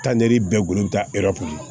Taa ni bɛɛ gugolo bɛ taa kɔnɔ